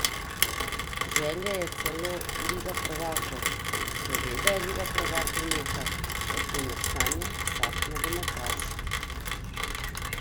Želja je celo liga prvakov: "Seveda je liga prvakov nekaj, o čemer sanja vsak nogometaš.